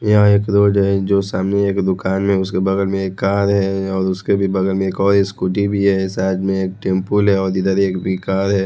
यहां एक रोड है जो सामने एक दुकान में उसके बगल में एक कार है और उसके भी बगल में एक और स्कूटी भी है साथ में एक टेंपो है और इधर एक भी कार है।